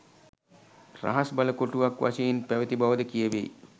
රහස් බලකොටුවක් වශයෙන් පැවැති බව ද කියැවෙයි.